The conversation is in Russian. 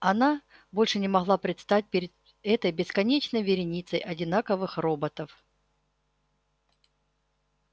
она больше не могла предстать перед этой бесконечной вереницей одинаковых роботов